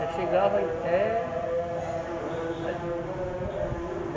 Eu chegava ir até ali.